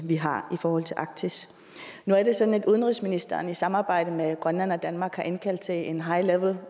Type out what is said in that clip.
vi har i forhold til arktis nu er det sådan at udenrigsministeren i samarbejde med grønland og danmark har indkaldt til en high level